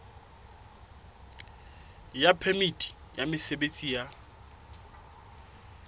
ya phemiti ya mosebetsi ya